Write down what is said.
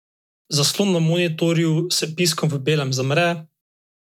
Zaslon na monitorju s piskom v belem zamre.